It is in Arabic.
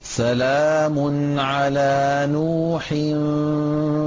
سَلَامٌ عَلَىٰ نُوحٍ